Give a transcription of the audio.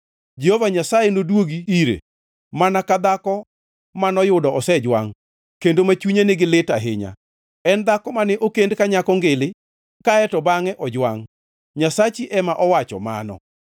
Jehova Nyasaye nodwogi ire, mana ka dhako manoyudo osejwangʼ, kendo ma chunye nigi lit ahinya, en dhako mane okend ka nyako ngili kae to bangʼe ojwangʼ,” Nyasachi ema owacho mano.